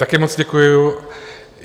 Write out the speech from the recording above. Také moc děkuji.